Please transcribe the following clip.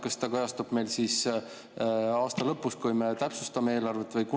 Kas see kajastub siis aasta lõpus, kui me täpsustame eelarvet?